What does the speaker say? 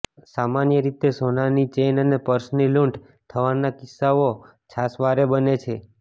સામાન્ય રીતે સોનાની ચેઇન અને પર્સની લૂંટ થવાના કિસ્સાઓ છાસવારે બને છે